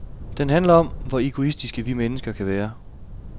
Den handler om, hvor egoistiske vi mennesker kan være.